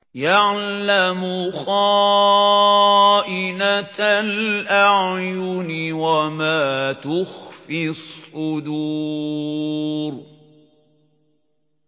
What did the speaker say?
يَعْلَمُ خَائِنَةَ الْأَعْيُنِ وَمَا تُخْفِي الصُّدُورُ